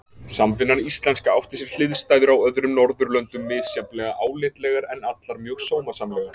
Samvinnan íslenska átti sér hliðstæður á öðrum Norðurlöndum, misjafnlega álitlegar, en allar mjög sómasamlegar.